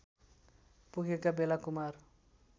पुगेका बेला कुमार